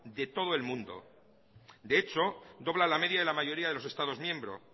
de todo el mundo de hecho dobla la media de la mayoría de los estados miembro